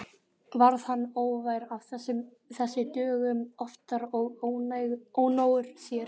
Varð hann óvær af þessu dögum oftar og ónógur sér.